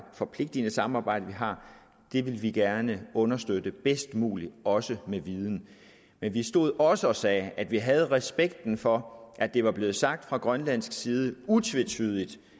og forpligtigende samarbejde vi har ville vi gerne understøtte bedst muligt også med viden men vi stod også og sagde at vi havde respekt for at det var blevet sagt fra grønlandsk side utvetydigt